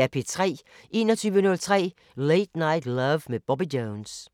21:03: Late Night Love med Bobby Jones